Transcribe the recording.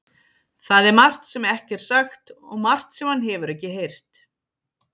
Það er margt sem ekki er sagt og margt sem hann hefur ekki heyrt.